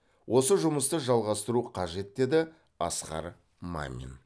осы жұмысты жалғастыру қажет деді асқар мамин